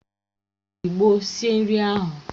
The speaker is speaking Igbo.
O ji ịgbo sie nri ahụ